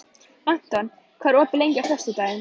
Anton, hvað er opið lengi á föstudaginn?